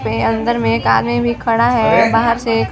पे अंदर में एक आदमी भी खड़ा है बाहार से --